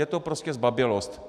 Je to prostě zbabělost.